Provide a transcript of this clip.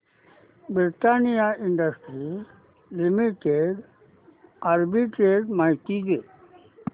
Britannia Industries Limited arbitrage माहिती दे